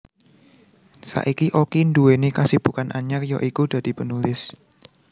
Saiki Oki nduweni kasibukan anyar ya iku dadi penulis